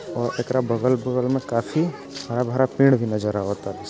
और एकरा बगल बगल मे काफी हरा भरा पेड़ भी नजर आवाता।